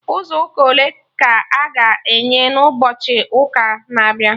Ụzọ ụka ole ka a ga-enwe na ụbọchị ụka na-abịa?